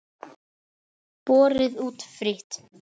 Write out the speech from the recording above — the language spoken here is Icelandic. Borið út frítt.